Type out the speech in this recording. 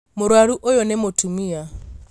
Mũrwaru ũyũ nĩ mũtumia